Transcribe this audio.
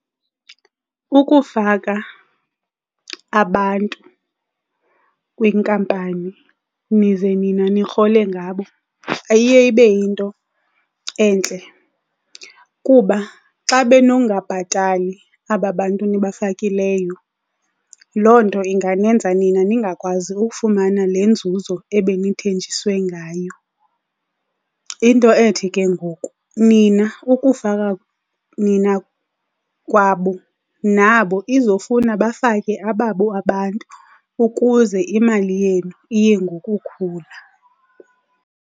Ukufaka abantu kwinkampani nize nina nirhole ngabo ayiye ibe yinto entle, kuba xa benongabhatali aba bantu nibafakileyo loo nto ingandenza nina ningakwazi ukufumana le nzuzo ebenithenjiswe ngayo. Into ethi ke ngoku, nina ukufaka nina kwabo nabo izofuna bafake ababo abantu ukuze imali yenu iye ngokukhula.